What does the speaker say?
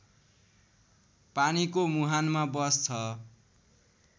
पानीको मुहानमा बस्छ